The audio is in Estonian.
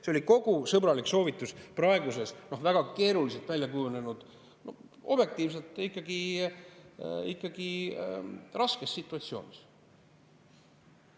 See oli sõbralik soovitus kogu selles praeguses väga keeruliseks kujunenud, objektiivselt ikkagi raskes situatsioonis.